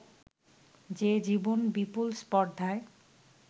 যে জীবন বিপুল স্পর্ধায়